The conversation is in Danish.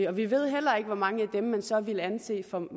og vi ved heller ikke hvor mange af dem man så ville anse for